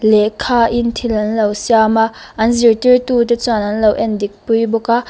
lehkha in thil an lo siam a an zirtir tute chuan an lo en dik pui bawk a.